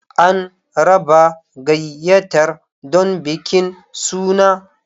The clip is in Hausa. An raba gayyatar don bikin suna.